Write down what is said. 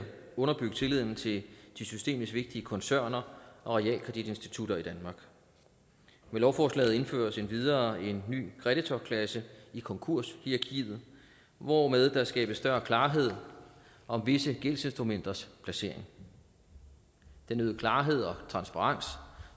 underbygge tilliden til de systemisk vigtige koncerner og realkreditinstitutter i danmark med lovforslaget indføres endvidere en ny kreditorklasse i konkurshierarkiet hvormed der skabes større klarhed om visse gældsinstrumenters placering den øgede klarhed og transparens